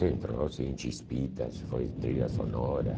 Sim, trouxe em Chispitas, foi trilha sonora.